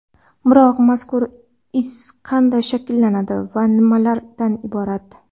Biroq, mazkur iz qanday shakllanadi va nimalardan iborat?